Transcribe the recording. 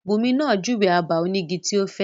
Bunmi máa júwe abà onígi tí ó fẹ́.